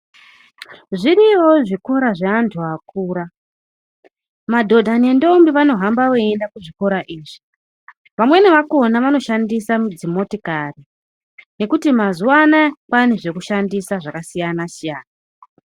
Zviriyowo zvikora zveantu akura, madhodha nendombi vanohamba veienda kuchikora ichi, vamweni vakhona vanoshandisa mudzi motikari nekuti mazuanaya kwaane zvekushandisa zvakasiyana siyana.